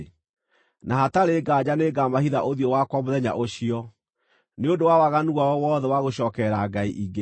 Na hatarĩ nganja nĩngamahitha ũthiũ wakwa mũthenya ũcio, nĩ ũndũ wa waganu wao wothe wa gũcookerera ngai ingĩ.